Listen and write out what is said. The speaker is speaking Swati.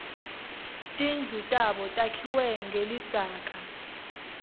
tindlu tabo takhiwe ngelidzaka